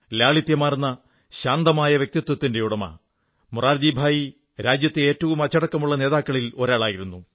ലാളിത്യമാർന്ന ശാന്തമായ വ്യക്തിത്വത്തിന്റെ ഉടമ മൊറാർജിഭായി രാജ്യത്തെ ഏറ്റവും അച്ചടക്കമുള്ള നേതാക്കളിൽ ഒരാളായിരുന്നു